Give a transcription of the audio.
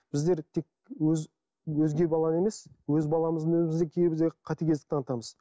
біздер тек өзге баланы емес өз баламыздың кейбірде қатыгездік танытамыз